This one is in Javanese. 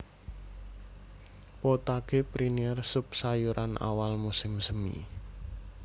Potage Printanier sup sayuran awal musim semi